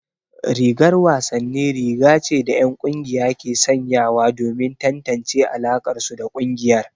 Rigar wasanni riga ce da 'yan kungiya ke sanyawa domin tantance alakarsu da kungiyar.